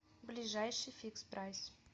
ближайший фикспрайс